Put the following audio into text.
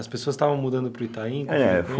As pessoas estavam mudando para o Itaim? É